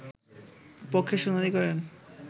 পক্ষে শুনানি করেন